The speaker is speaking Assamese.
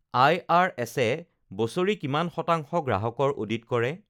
আইআৰএছে বছৰি কিমান শতাংশ গ্ৰাহকৰ অডিট কৰে?